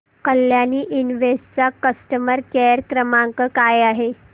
Kalyani invest चा customer care क्रमांक काय आहे